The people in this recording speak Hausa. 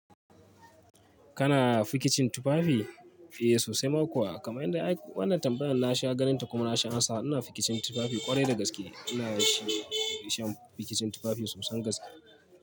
Kana fikicin tufafi? Eh sosai ma kuwa kamar yanda ai wannan tambayar na sha ganinta kuma na sha amsa. Ina fikicin tufafi kwarai da gaske ina shi. Fikicin tufafi sosan gaske.